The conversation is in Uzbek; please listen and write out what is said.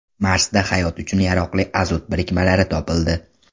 Marsda hayot uchun yaroqli azot birikmalari topildi.